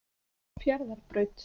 Fjarðarbraut